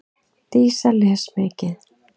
Dísa les mikið.